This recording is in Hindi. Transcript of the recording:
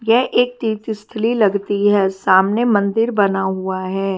ये एक तीर्थ स्थल ही लगती है सामने मंदिर बना हुआ है।